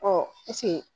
Ɔ